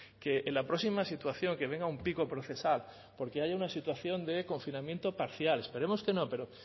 que en la próxima situación que venga un pico procesal porque hay una situación de confinamiento parcial esperemos que no pero